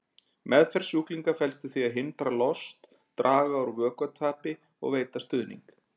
Meðferð sjúklinga felst í því að hindra lost, draga úr vökvatapi og veita stuðning.